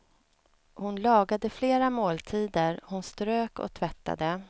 Hon lagade flera måltider, hon strök och tvättade.